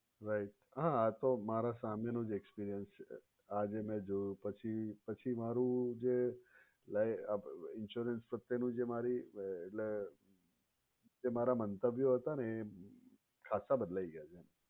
right આતો મારા સામે નો જ experience છે જે મે જોયું એ પછી મારુ જે insurance પ્રત્યે નું જે મારી એટલે જે મારા મંતવ્યો હતા ને એ ખાશા બદલાય ગયા છે.